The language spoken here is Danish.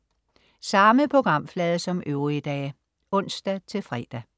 Samme programflade som øvrige dage (ons-fre)